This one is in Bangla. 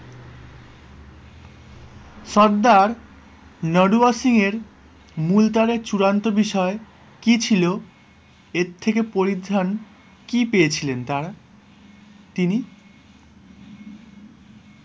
সর্দার নলোয়ার সিং এর মূলতারের চূড়ান্ত বিষয় কি ছিল? এর থেকে পরিত্রাণ কি পেয়েছিলেন তারা তিনি?